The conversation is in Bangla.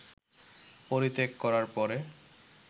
পরিত্যাগ করার পরে